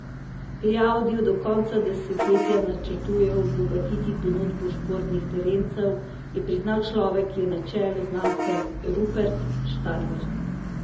Pri Audiju do konca desetletja načrtujejo obogatiti ponudbo športnih terencev, je priznal človek, ki je na čelu znamke, Rupert Stadler.